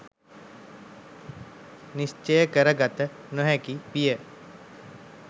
නිශ්චය කර ගත නොහැකි විය.